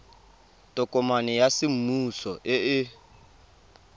tokomane ya semmuso e e